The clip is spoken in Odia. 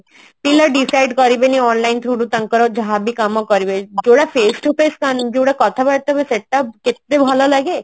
decide କରିବିନି online through ରୁ ତାଙ୍କର ଯାହାବି କାମ କରିବି ଯୋଉଟା face to face ମାନେ ଯୋଉଟା କଥାବାର୍ତା ହୁଏ ସେଟା କେତେ ଭଲ ଲାଗେ